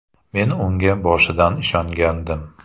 Men unga boshidan ishongandim.